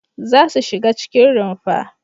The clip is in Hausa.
Za su shiga cikin rumfa!